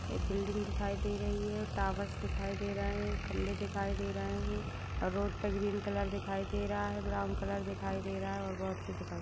एक बिल्डिंग दिखाई दे रही है। टॉवर्स दिखाई दे रहे हैं। खंबें दिखाई दे रहे हैं और रोड पे ग्रीन कलर दिखाई दे रहा है ब्राउन कलर दिखाई दे रहा है और बोहोत कुछ दिखाई --